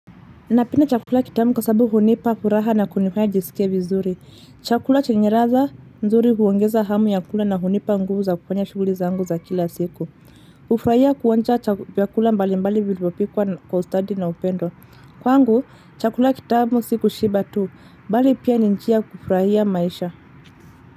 Napenda chakula kitamu kwa sababu unipa kuraha na kunifanya njisikie vizuri. Chakula chenye raza nzuri uongeza hamu ya kula na unipa nguvu za kufanya shuguli zangu za kila siku. Ufrahia kuonja chakula mbali mbali vilipopikwa kwa ustadi na upendo. Kwangu, chakula kitamu si kushiba tu. Mbali pia ni njia ya kufrahia maisha.